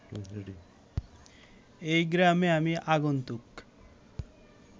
এ গ্রামে আমি আগন্তুক